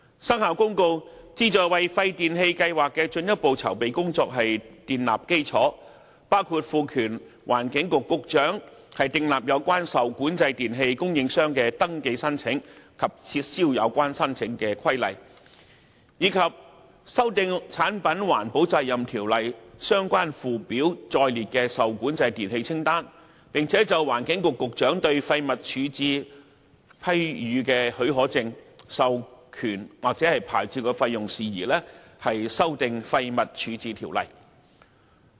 《生效日期公告》旨在為廢電器計劃的進一步籌備工作建立基礎，包括賦權環境局局長訂立有關受管制電器供應商的登記申請及撤銷有關登記的規例，以及修訂《產品環保責任條例》相關附表載列的受管制電器清單，並就環境局局長對廢物處置批予的許可證、授權或牌照的費用事宜，修訂《廢物處置條例》。